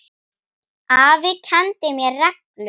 Afi kenndi mér reglu.